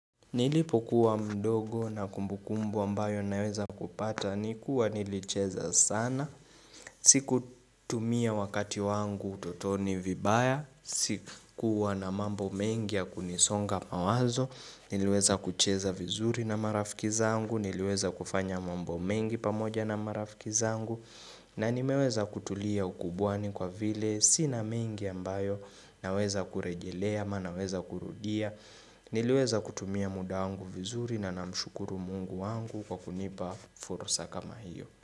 Nilipokuwa mdogo na kumbukumbu ambayo naweza kupata ni kuwa nilicheza sana, sikutumia wakati wangu utotoni vibaya, sikuwa na mambo mengi ya kunisonga mawazo, niluweza kucheza vizuri na marafiki zangu, niliweza kufanya mambo mengi pamoja na marafiki zangu, na nimeweza kutulia ukubwani kwa vile, sina mengi ambayo naweza kurejelea, ama naweza kurudia. Niliweza kutumia muda wangu vizuri na na mshukuru Mungu wangu kwa kunipa fursa kama hiyo.